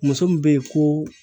Muso min be yen ko